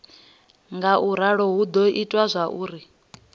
ngauralo hu do ita zwauri